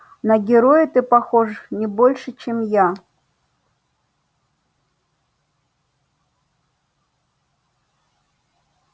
на героя ты похож не больше чем я